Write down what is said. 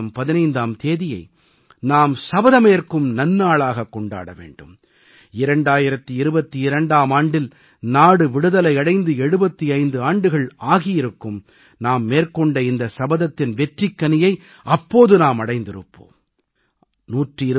இந்த ஆண்டு ஆகஸ்ட் மாதம் 15ஆம் தேதியை நாம் சபதமேற்கும் நன்நாளாகக் கொண்டாட வேண்டும் 2022ஆம் ஆண்டில் நாடு விடுதலை அடைந்து 75 ஆண்டுகள் ஆகியிருக்கும் நாம் மேற்கொண்ட இந்த சபதத்தின் வெற்றிக்கனியை அப்போது அடைந்திருப்போம்